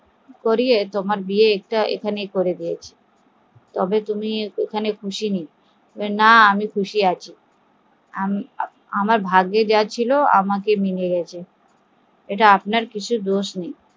তোমার বিয়ে এখানে করিয়ে তবে তুমি খুশি নেই, না আমি খুশি আছি, আমার ভাগ্যে যা ছিল এতে আপনার কোনোই দোষ নেই